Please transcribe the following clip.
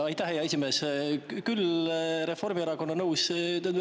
Aitäh, hea esimees!